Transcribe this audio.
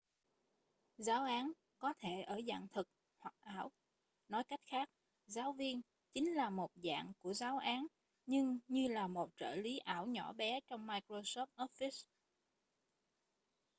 giáo án có thể ở dạng thực hoặc ảo nói cách khác giáo viên chính là một dạng của giáo án nhưng như là một trợ lí ảo nhỏ bé trong microsoft office